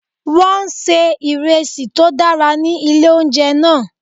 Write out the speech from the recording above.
Wọ́n ń se ìresí tó dára ní ilé oúnjẹ náà.